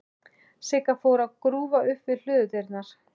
Sigga fór að grúfa upp við hlöðudyrnar.